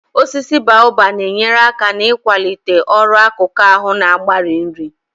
Osisi boabab na-enyere aka n'ikwalite ọrụ akụkụ ahụ na-agbari nri